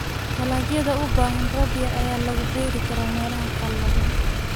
Dalagyada u baahan roob yar ayaa lagu beeri karaa meelaha qallalan.